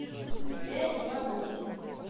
пять два восемь